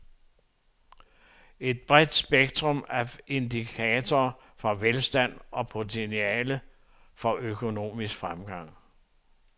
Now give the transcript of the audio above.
Et bredt spektrum af indikatorer for velstand og potentiale for økonomisk fremgang.